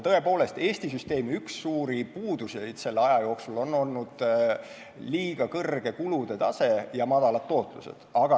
Tõepoolest, Eesti süsteemi üks suuri puudusi on selle aja jooksul olnud liiga kõrge kulude tase ja madalad tootlused.